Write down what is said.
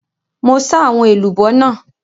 Mo sà àwọn èlùbọ́ náà.